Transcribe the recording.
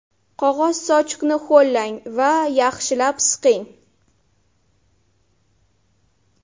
Qog‘oz sochiqni ho‘llang va yaxshilab siqing.